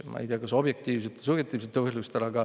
Ma ei tea, kas objektiivsetel või subjektiivsetel põhjustel.